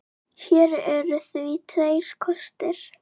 Hér eru því tveir kostir